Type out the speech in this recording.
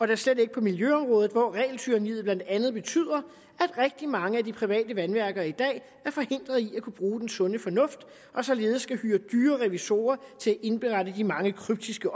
da slet ikke på miljøområdet hvor regeltyranniet blandt andet betyder at rigtig mange af de private vandværker i dag er forhindret i at kunne bruge den sunde fornuft og således skal hyre dyre revisorer til at indberette de mange kryptiske